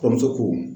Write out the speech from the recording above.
Kɔɲɔmuso ko